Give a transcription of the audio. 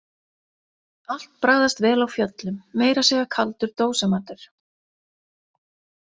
Allt bragðast vel á fjöllum, meira að segja kaldur dósamatur.